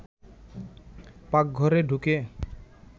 পাকঘরে ঢুকে